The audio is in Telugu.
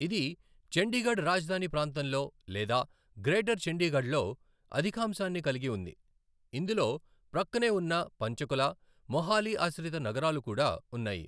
ఇది చండీగఢ్ రాజధాని ప్రాంతంలో లేదా గ్రేటర్ చండీగఢ్లో అధికాంశాన్ని కలిగి ఉంది, ఇందులో ప్రక్కనే ఉన్న పంచకుల, మొహాలీ ఆశ్రిత నగరాలు కూడా ఉన్నాయి.